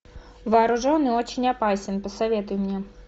вооружен и очень опасен посоветуй мне